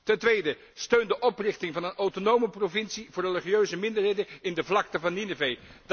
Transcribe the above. Ten tweede steun de oprichting van een autonome provincie voor religieuze minderheden in de vlakte van Ninive.